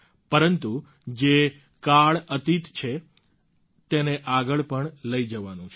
પરંતુ જે કાળઅતિત છે તેને આગળ પણ લઈ જવાનું છે